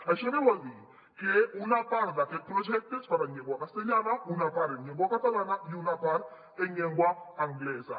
això que vol dir que una part d’aquest projecte es farà en llengua castellana una part en llengua catalana i una part en llengua anglesa